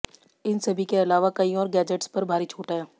इन सभी के अलावा कई और गैजेट्स पर भारी छूट है